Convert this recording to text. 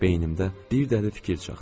Beynimdə bir dəli fikir çaxtı.